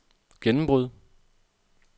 gennembrud